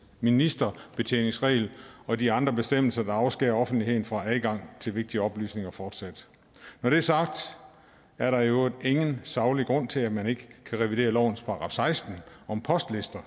ministerbetjeningsregel og de andre bestemmelser der afskærer offentligheden fra adgang til vigtige oplysninger fortsat når det er sagt er der i øvrigt ingen saglig grund til at man ikke kan revidere lovens § seksten om postlister